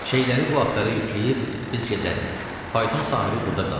Şeyləri bu atlara yükləyib biz gedərik, fayton sahibi burda qalar.